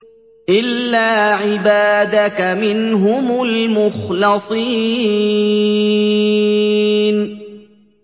إِلَّا عِبَادَكَ مِنْهُمُ الْمُخْلَصِينَ